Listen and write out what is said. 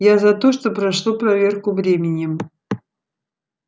я за то что прошло проверку временем